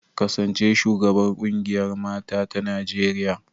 Kasance shugabar kungiyar mata ta Najeriya.